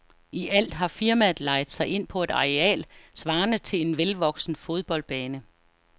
I alt har firmaet lejet sig ind på et areal svarende til en velvoksen fodboldbane.